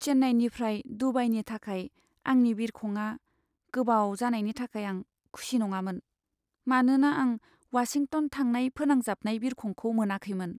चेन्नाईनिफ्राय दुबाईनि थाखाय आंनि बिरखंआ गोबाव जानायनि थाखाय आं खुसि नङामोन, मानोना आं वाशिंटन थांनाय फोनांजाबनाय बिरखंखौ मोनाखैमोन।